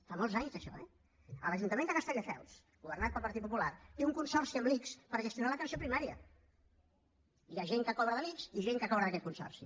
fa molts anys d’això eh l’ajuntament de castelldefels governat pel partit popular té un consorci amb l’ics per gestionar l’atenció primària hi ha gent que cobra de l’ics i gent que cobra d’aquest consorci